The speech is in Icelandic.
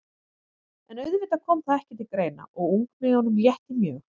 En auðvitað kom það ekki til greina og ungmeyjunum létti mjög.